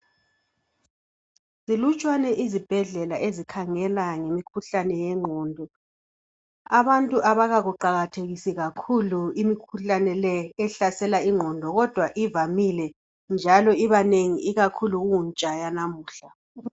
Zinlutshwane izibhedlela ezikhangela ngemkhuhlane yengqondo, abantu abakakuqakathekisi kakhulu imikhuhlane le ehlasela ingqondo kodwa ivamile njalo ibanengi ikakhulu kuntsha yanamuhla.